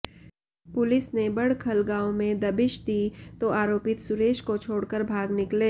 police ने बड़खल गांव में दबिश दी तो आरोपित सुरेश को छोड़कर भाग निकले